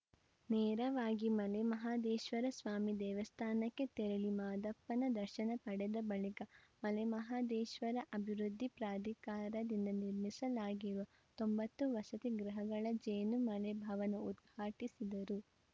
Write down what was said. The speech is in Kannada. ನೇರವಾಗಿ ಮಲೆ ಮಹದೇಶ್ವರ ಸ್ವಾಮಿ ದೇವಸ್ಥಾನಕ್ಕೆ ತೆರಳಿ ಮಾದಪ್ಪನ ದರ್ಶನ ಪಡೆದ ಬಳಿಕ ಮಲೆ ಮಹದೇಶ್ವರ ಅಭಿವೃದ್ಧಿ ಪ್ರಾಧಿಕಾರದಿಂದ ನಿರ್ಮಿಸಲಾಗಿರುವ ತೊಂಬತ್ತು ವಸತಿ ಗೃಹಗಳ ಜೇನು ಮಲೆ ಭವನ ಉದ್ಘಾಟಿಸಿದರು